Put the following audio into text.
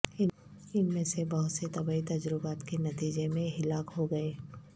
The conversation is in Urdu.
ان میں سے بہت سے طبی تجربات کے نتیجے میں ہلاک ہو گئے